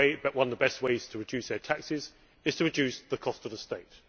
One of the best ways to reduce their taxes is to reduce the cost of the state.